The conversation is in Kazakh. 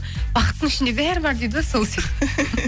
бақыттың ішінде бәрі бар дейді ғой сол сияқты